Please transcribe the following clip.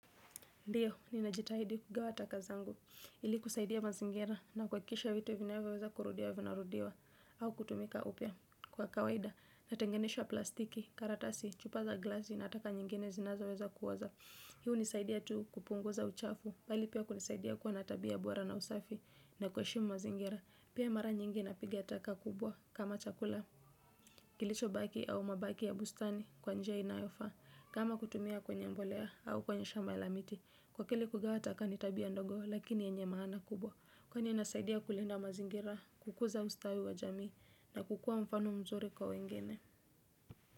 Ndiyo, ninajitahidi kugawa taka zangu, ili kusaidia mazingira na kua kikisha vitu vinaweweza kurudia vinarudiwa au kutumika upya. Kwa kawaida, natengenisha plastiki, karatasi, chupa za glasi na ataka nyingine zinazo weza kuoza. Hii unisaidia tu kupunguza uchafu, bali pia kunisaidia kuwa na tabia bora na usafi na kuheshimu mazingira. Pia mara nyingi na piga taka kubwa kama chakula, kilicho baki au mabaki ya bustani kwa njia inayofa. Kama kutumia kwenye mbolea au kwenye shamba la miti, kwa kile kugawa taka ni tabia ndogo lakini yenye maana kubwa. Kwa ni inasaidia kulinda mazingira, kukuza ustawi wa jamii na kukua mfano mzuri kwa wengine.